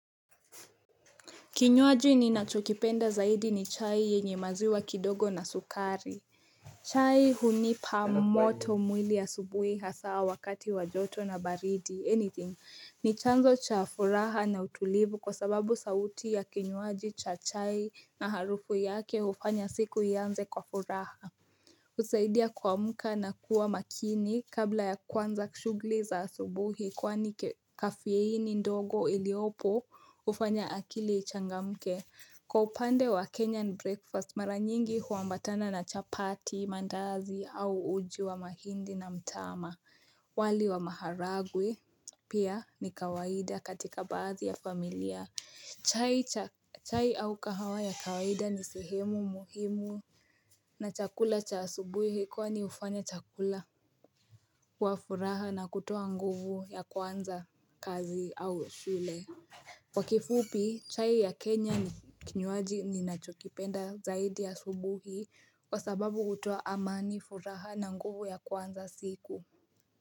Kinywaji ninachokipenda zaidi ni chai yenye maziwa kidogo na sukari chai hunipa moto mwili asubuhi hasa wakati wa joto na baridi anything ni chanzo cha furaha na utulivu kwa sababu sauti ya kinywaji cha chai na harufu yake hufanya siku ianze kwa furaha husaidia kuamka na kuwa makini kabla ya kuanza shughuli za asubuhi kwani kafeini ndogo iliyopo hufanya akili ichangamke. Kwa upande wa Kenyan breakfast mara nyingi huambatana na chapati, mandazi au uji wa mahindi na mtama wali wa maharagwe pia ni kawaida katika baadhi ya familia. Chai cha chai au kahawa ya kawaida ni sehemu muhimu na chakula cha asubuhi hii kwani hufanya chakula kuwa furaha na kutoshulea nguvu ya kuanza kazi au shule Kwa kifupi chai ya Kenya ni kinywaji ninachokipenda zaidi asubuhi kwa sababu hutoa amani furaha na nguvu ya kuanza siku.